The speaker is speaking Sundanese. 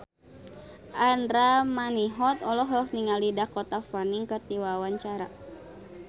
Andra Manihot olohok ningali Dakota Fanning keur diwawancara